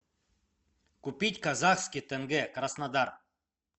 купить казахский тенге краснодар